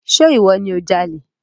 Ṣe ìwọ ni o jalè?